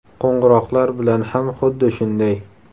Qo‘ng‘iroqlar bilan ham xuddi shunday.